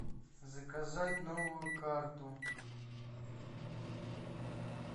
заказать новую карту